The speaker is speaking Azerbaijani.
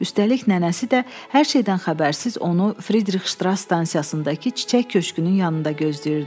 Üstəlik nənəsi də hər şeydən xəbərsiz onu Fridrix Ştras stansiyasındakı çiçək köşkünün yanında gözləyirdi.